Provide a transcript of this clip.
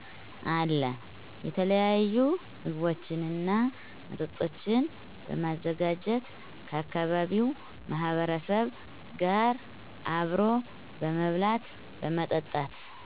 አለ። የተለያዪ ምግቦችንና መጠጦችን በማዘጋጀት ከአካባቢው ማህበረሰብ ጋር አብሮ በመብላት በመጠጣት